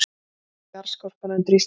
Jarðskorpan undir Íslandi